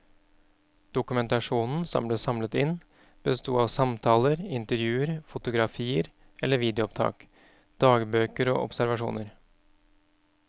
Dokumentasjonen som ble samlet inn besto av samtaler, intervjuer, fotografier eller videoopptak, dagbøker og observasjoner.